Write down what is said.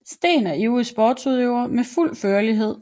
Steen er ivrig sportsudøver med fuld førlighed